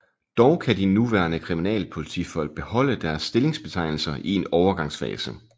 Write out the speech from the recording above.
Dog kan de nuværende kriminalpolitifolk beholde deres stillingsbetegnelser i en overgangsfase